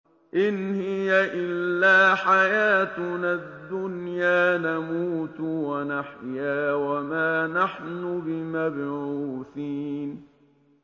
إِنْ هِيَ إِلَّا حَيَاتُنَا الدُّنْيَا نَمُوتُ وَنَحْيَا وَمَا نَحْنُ بِمَبْعُوثِينَ